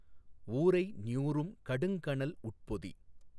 ஊரை ஞூறும் கடுங் கனல் உட்பொதி